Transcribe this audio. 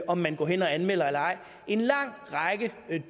om man går hen og anmelder eller ej en lang række